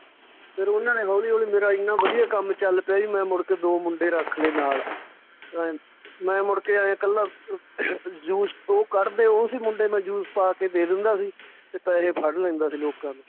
ਫਿਰ ਉਹਨਾਂ ਨੇ ਹੌਲੀ ਹੌਲੀ ਮੇਰਾ ਇੰਨਾਂ ਵਧੀਆ ਕੰਮ ਚੱਲ ਪਿਆ ਜੀ ਮੈਂ ਮੁੜ ਕੇ ਦੋ ਮੁੰਡੇ ਰੱਖ ਲਏ ਨਾਲ ਅਹ ਮੈਂ ਮੁੜ ਕੇ ਐਂ ਇਕੱਲਾ ਅਹ juice ਉਹ ਕੱਢਦੇ ਉਹ ਸੀ ਮੁੰਡੇ ਮੈਂ juice ਪਾ ਕੇ ਦੇ ਦਿੰਦਾ ਸੀ ਤੇ ਪੈਸੇ ਫੜ ਲੈਂਦਾ ਸੀ ਲੋਕਾਂ ਤੋਂ